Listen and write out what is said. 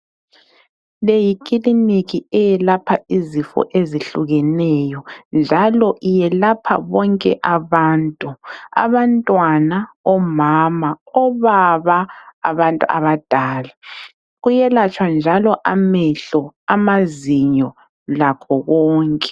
Leyi Kiliniki eyelapha izifo ezihlukeneyo njalo iyelapha bonke abantu. Abantwana, omama, obaba, abantu abadala. Kuyelatshwa njalo amehlo, amazinyo lakho konke.